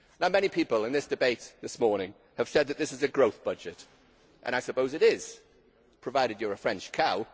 Now many people in this debate this morning have said that this is a growth budget and I suppose it is, provided you are a French cow.